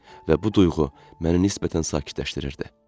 Və bu duyğu məni nisbətən sakitləşdirdi.